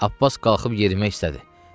Abbas qalxıb yerimək istədi.